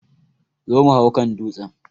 Zo mu hau kan dutsen!